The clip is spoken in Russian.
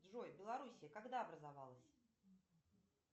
джой белоруссия когда образовалась